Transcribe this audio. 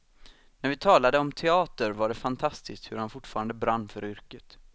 När vi talade om teater var det fantastiskt hur han fortfarande brann för yrket.